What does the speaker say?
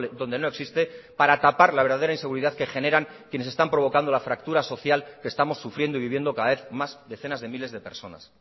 donde no existe para tapar la verdadera inseguridad que generan quienes están provocando la fractura social que estamos sufriendo y viviendo cada vez más decenas de miles de personas